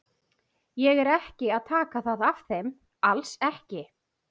Ég er ekki að taka það af þeim, alls ekki.